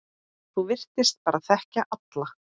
Þú virtist bara þekkja alla.